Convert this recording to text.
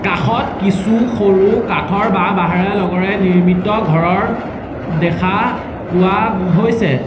কাষত কিছু সৰু কাঠৰ বা বাঁহৰে লগৰে নিৰ্মিত ঘৰৰ দেখা পোৱা হৈছে।